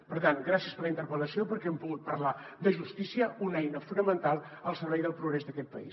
per tant gràcies per la interpel·lació perquè hem pogut parlar de justícia una eina fonamental al servei del progrés d’aquest país